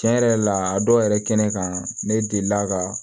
Tiɲɛ yɛrɛ la a dɔw yɛrɛ kɛnɛ kan ne delila ka